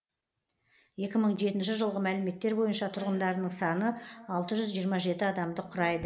екі мың жетінші жылғы мәліметтер бойынша тұрғындарының саны алты жүз жиырма жеті адамды құрайды